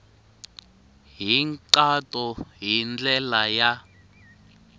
hi nkhaqato hi ndlela ya